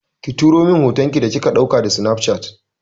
Ki turo min hoton ki da kika ɗauka da sinafcat.